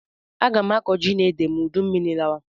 Aga m akọ ji na ede ma udummiri lawa